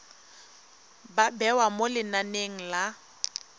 ba bewa mo lenaneng la